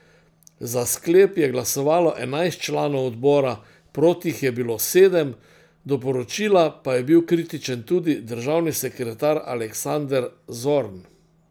Za sklep je glasovalo enajst članov odbora, proti jih je bilo sedem, do poročila pa je bil kritičen tudi državni sekretar Aleksander Zorn.